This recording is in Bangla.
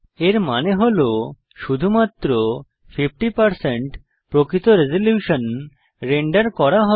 এর মানে হল শুধুমাত্র 50 প্রকৃত রেজল্যুশন রেন্ডার করা হবে